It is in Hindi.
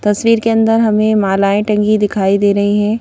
तस्वीर के अंदर हमें मालाएं टंगी दिखाई दे रही हैं.